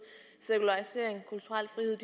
sekularisering kulturel frihed